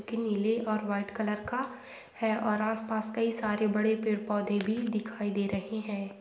एक नीले और वाइट कलर का है और आस पास कई सारे बड़े पेड़ पौधे दिखाई दे रहे है।